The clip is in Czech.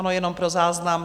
Ano, jenom pro záznam.